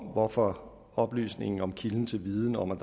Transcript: hvorfor oplysningen om kilden til viden om at